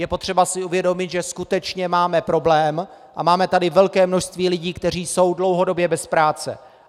Je potřeba si uvědomit, že skutečně máme problém a máme tady velké množství lidí, kteří jsou dlouhodobě bez práce.